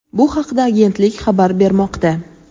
Bu haqda agentlik xabar bermoqda.